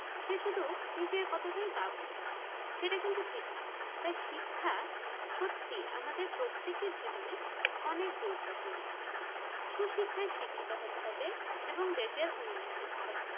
সে শুধু নিজের কথাটাই ভাবলো সেটা কিন্তু ঠিক নয় তাই শিক্ষা শুধু আমাদের প্রত্যেকের জীবনে অনেক গুরুত্বপূর্ণ সুসিক্ষায় শিক্ষিত হতে হবে এবং দেশের উন্নয়ন করতে হবে।